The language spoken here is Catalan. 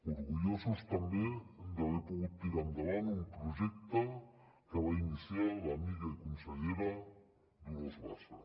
orgullosos també d’haver pogut tirar endavant un projecte que va iniciar l’amiga i consellera dolors bassa